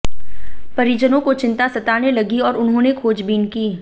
परिजनों को चिंता सताने लगी और उन्होंने खोजबीन की